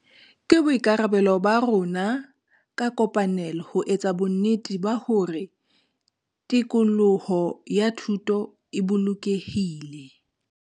Ke boikarabelo ba rona ka kopanelo ho etsa bonnete ba hore tikoloho ya thuto e bolokehile.